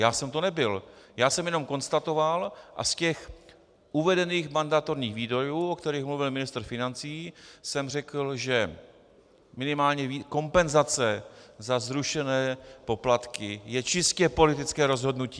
Já jsem to nebyl, já jsem jenom konstatoval a z těch uvedených mandatorních výdajů, o kterých mluvil ministr financí, jsem řekl, že minimálně kompenzace za zrušené poplatky je čistě politické rozhodnutí.